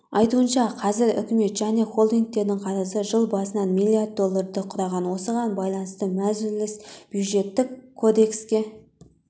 айтуынша қазір үкімет және холдингтердің қарызы жыл басынан миллиард долларды құраған осыған байланысты мәжіліс бюджеттік кодекске